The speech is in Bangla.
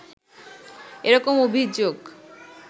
এরকম অভিযোগ